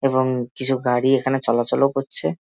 এবং কিছু গাড়ি এখানে চলাচলও করছে।